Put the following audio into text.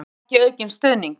Skynjar ekki aukinn stuðning